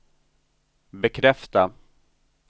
bekräfta